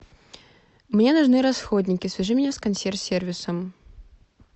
мне нужны расходники свяжи меня с консьерж сервисом